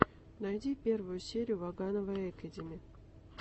найди первую серию ваганова экэдими